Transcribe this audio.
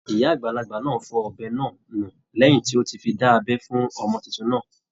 Ìyá àgbàlagbà náà fọ ọ̀bẹ náà nù lẹ́hìn tí ó ti fi dá abẹ́ fún ọmọ titun náà.